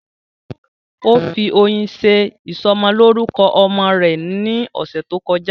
Ó fi oyin ṣe ìsọmọlórúkọ ọmọ rẹ̀ ní ọ̀sẹ̀ tó kọjá